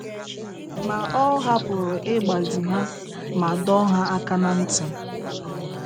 Ma ọ hapụrụ ịgbazi ha ma dọọ ha aka n'ntị